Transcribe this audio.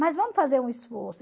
Mas vamos fazer um esforço.